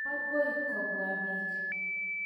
Akoi kopwa piik.